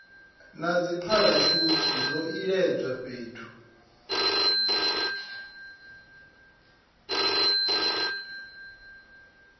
na dzipharashuthi zwo iledzwa fhethu